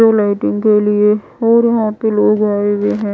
Blue lighting के लिए और यहां पे लोग आए हुए हैं।